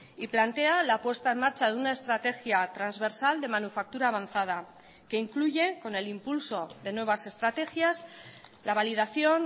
y plantea la puesta en marcha de una estrategia transversal de manufactura avanzada que incluye con el impulso de nuevas estrategias la validación